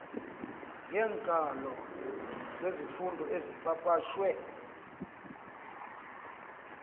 yeenkalo zezifundo ezipapashwe